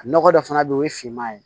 Nɔgɔ dɔ fana bɛ yen o ye finman ye